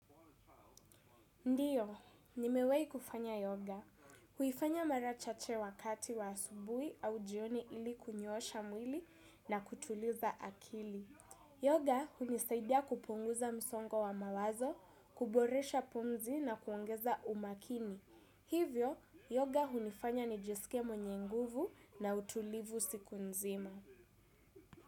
Ndiyo, nimewahi kufanya yoga. Huifanya mara chache wakati wa asubuhi au jioni ili kunyoosha mwili na kutuliza akili. Yoga hunisaidia kupunguza msongo wa mawazo, kuboresha pumzi na kuongeza umakini. Hivyo, yoga hunifanya nijisike mwenye nguvu na utulivu siku nzima.